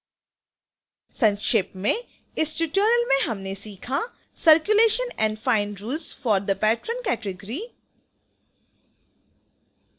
संक्षेप में इस ट्यूटोरियल में हमने सीखा: circulation and fine rules for the patron category